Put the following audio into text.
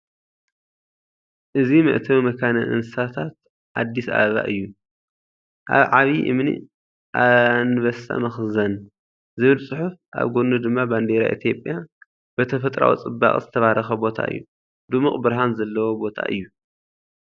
እዚ መእተዊ መካነ እንስሳታት ኣዲስ ኣበባ እዩ። ኣብ ዓቢ እምኒ ‘ኣንበሳ መኽዘን’ ዝብል ጽሑፍ ኣብ ጎድኑ ድማ ባንዴራ ኢትዮጵያ፣ ብተፈጥሮኣዊ ጽባቐ ዝተባረኸ ቦታ እዩ። ድሙቕ ብርሃን ዘለዎ ቦታ እዩ።